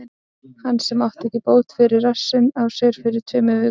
Hann sem átti ekki bót fyrir rassinn á sér fyrir tveimur vikum?